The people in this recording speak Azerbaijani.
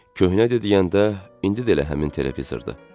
Köhnə deyəndə, indi də elə həmin televizordur.